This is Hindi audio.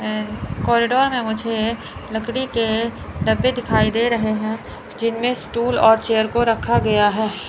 कॉरिडोर में मुझे लकड़ी के डब्बे दिखाई दे रहे हैं। जिम में स्टूल और चेयर को रखा गया है।